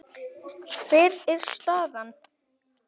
Hver er staðan?